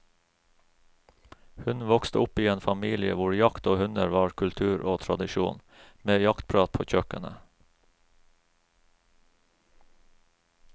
Hun vokste opp i en familie hvor jakt og hunder var kultur og tradisjon, med jaktprat på kjøkkenet.